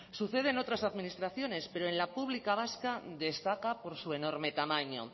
sucede en otras administraciones pero en la pública vasca destaca por su enorme tamaño